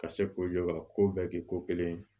Ka se la ka ko bɛɛ kɛ ko kelen ye